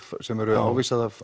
sem er ávísað af